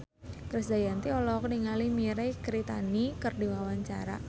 Krisdayanti olohok ningali Mirei Kiritani keur diwawancara